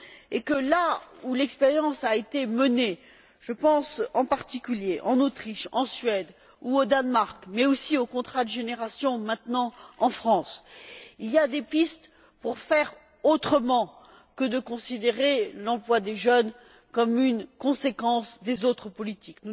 et que, là où l'expérience a été menée je pense, en particulier, à l'Autriche, à la Suède ou au Danemark, mais aussi au contrat de génération, maintenant en France il y a des pistes pour faire autrement que de considérer l'emploi des jeunes comme une conséquence des autres politiques.